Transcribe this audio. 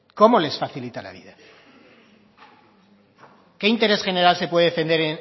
cómo les facilita la vida qué interés general se puede defender